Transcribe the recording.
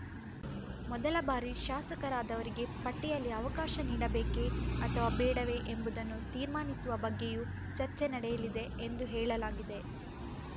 ಮೊದಲ ಬಾರಿ ಶಾಸಕರಾದವರಿಗೆ ಪಟ್ಟಿಯಲ್ಲಿ ಅವಕಾಶ ನೀಡಬೇಕೇ ಅಥವಾ ಬೇಡವೇ ಎಂಬುದನ್ನು ತೀರ್ಮಾನಿಸುವ ಬಗ್ಗೆಯೂ ಚರ್ಚೆ ನಡೆಯಲಿದೆ ಎಂದು ಹೇಳಲಾಗಿದೆ